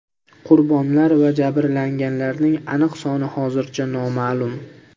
Qurbonlar va jabrlanganlarning aniq soni hozircha noma’lum.